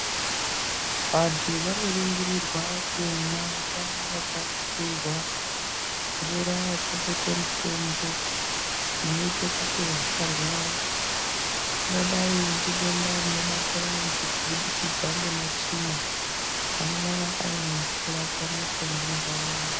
Vantu vanoringirirwa kumwa mvura yaringirirwa mvura yakabekwe mutombo inoite kuti vasara rwara ingadai ngedenda rinobate vantu kubudikidza ngematsvina anongana ari mumvura pamwepo nemuntaraunda.